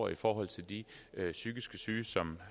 i forhold til de psykiske syge som